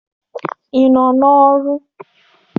Ị nọ n'ọrụ?